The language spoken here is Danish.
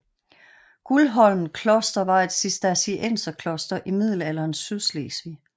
Guldholm kloster var et Cistercienserkloster i middelalderens Sydslesvig